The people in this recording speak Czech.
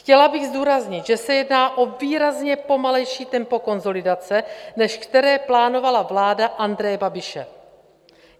Chtěla bych zdůraznit, že se jedná o výrazně pomalejší tempo konsolidace, než které plánovala vláda Andreje Babiše.